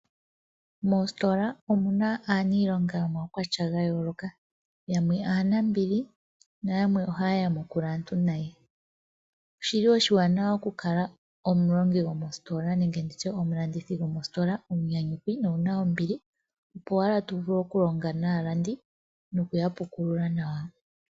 Moostola omu na aaniilonga yomaukwatya ga yooloka. Yamwe aanambili, nayamwe ohaa yamukula aantu nayi. Oshili oshiwanawa okukala omulongi gomostola nenge tu tye omulandithi gomostola omunyanyukwi nowu na ombili, opo owala to vulu okulonga naalandi, nokuya pukulula nawa.